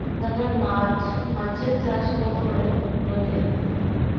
তারপর মাছ মাছের চাষ কত করে লোকে